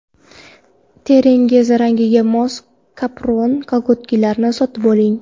Teringiz rangiga mos kapron kolgotkalarni sotib oling.